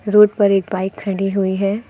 Road पर एक bike खड़ी हुई है।